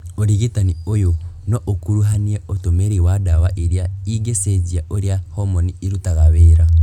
ũrigitani ũyũ no ũkuruhanie ũtũmĩri wa ndawa irĩa ingĩcenjia ũrĩa homoni irutaga wĩra